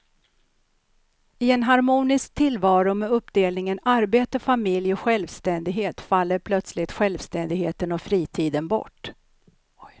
I en harmonisk tillvaro med uppdelningen arbete, familj och självständighet faller plötsligt självständigheten och fritiden bort.